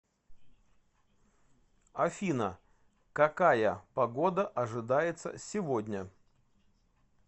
афина какая погода ожидается сегодня